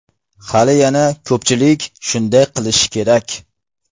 Hali yana ko‘pchilik shunday qilishi kerak.